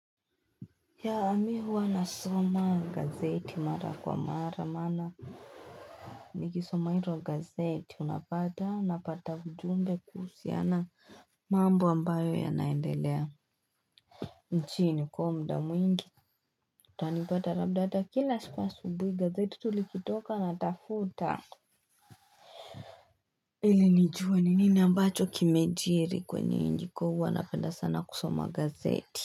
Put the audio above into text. Yeah mi huwa nasoma gazeti mara kwa mara maana nikisoma hiro gazeti unapata napata ujumbe kuhusiana mambo ambayo yanaendelea nchini kwa mda mwingi utanipata labda kila siku asubuhi gazeti tu likitoka natafuta ili nijue ni nini ambacho kimejiri kwenye nchi huwa napanda sana kusoma gazeti.